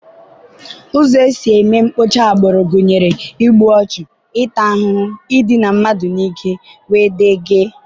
Ụzọ e si eme mkpocha agbụrụ gụnyere: igbu ọchụ, ịta ahụhụ, idina mmadụ n'ike, wdg.